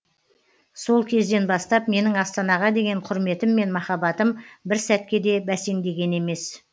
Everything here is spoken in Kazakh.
сол кезден бастап менің астанаға деген құрметім мен махаббатым бір сәтке де бәсеңдеген емес